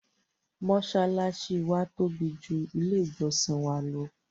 mọ́sálásí wa tóbi ju ilé ìjọ́sìn wa lọ.